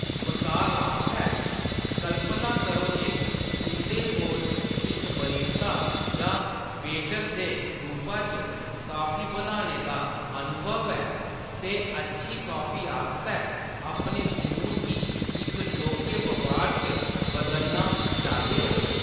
मसाल आस्तै, कल्पना करो जे तुंʼदे कोल इक बरिस्ता जां वेटर दे रूपा च कॉफी बनाने दा अनुभव ऐ ते अच्छी कॉफी आस्तै अपने जुनून गी इक लौह्‌‌‌के बपार च बदलना चांह्‌‌‌दे ओ।